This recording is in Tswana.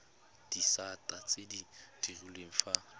disata tse di direlwang fa